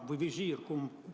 Või visiir?